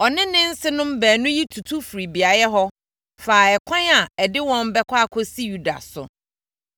Ɔne ne nsenom baanu yi tutu firii beaeɛ hɔ faa ɛkwan a ɛde wɔn bɛkɔ akɔsi Yuda so.